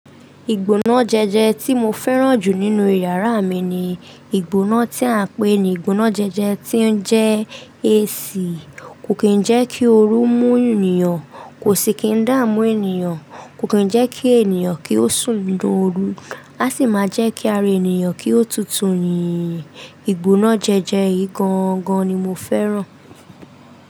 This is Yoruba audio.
Ìgbóná jẹjẹ tí mo fẹ́ràn jù nínú yàrá mi ni ìgbóná tí à ń pè ní ìgbóná jẹjẹ tí ó ń jẹ AC. Kò kí ń jẹ́ kí ooru mú ènìyàn, kò sì kín dá mú ènìyàn, kò kí ń jẹ́ kí ènìyàn kí ó sùn dún ooru. Á sì máa jẹ́ kí ara ènìyàn kí ó tutù ni. Ìgbóná jẹjẹ yìí gan-an gan ni mo fẹ́ràn.